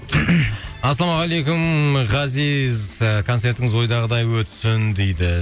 ассалаумағалейкум ғазиз ы концертіңіз ойдағыдай өтсін дейді